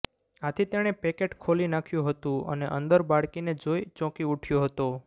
આથી તેણે પેકેટ ખોલી નાખ્યું હતું અને અંદર બાળકીને જોઈ ચોંકી ઉઠયો હતો